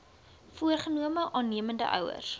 voorgenome aannemende ouers